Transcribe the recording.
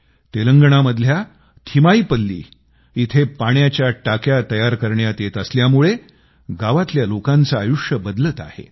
तेलंगणामधल्या थिमाईपल्ली इथं पाण्याच्या टाक्या तयार करण्यात येत असल्यामुळे गावातल्या लोकांचे आयुष्य बदलत आहे